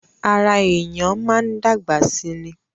Ará èèyàn máa ń dàgbà sí ní